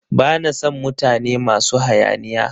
Ba na sn mutane masu hayaniya.